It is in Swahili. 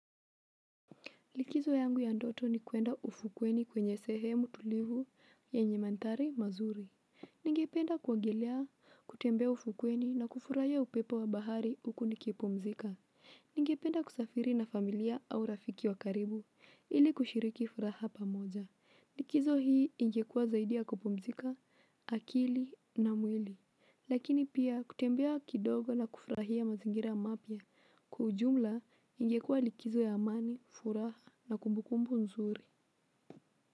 Likizo yangu ya ndoto ni kuenda ufukweni kwenye sehemu tulivu yenye mandhari mazuri. Ningependa kuogelea, kutembea ufukweni na kufurahia upepo wa bahari huku nikipumzika. Ningependa kusafiri na familia au rafiki wa karibu ili kushiriki furaha pamoja likizo hii ingekuwa zaidi ya kupumzika akili na mwili. Lakini pia kutembea kidogo na kufurahia mazingira mapya. Kwa ujumla, ingekua likizo ya amani, furaha na kumbukumbu nzuri.